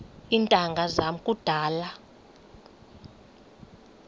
iintanga zam kudala